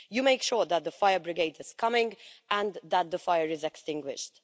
You make sure that the fire brigade is coming and that the fire is extinguished.